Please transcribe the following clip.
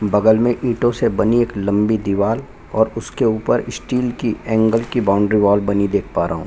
बगल में एक ईटों से बनी एक लम्बी दिवार और उसके ऊपर स्टील की एंगेल की बॉउंड्री वॉल बनी देख पा रहा हूँ।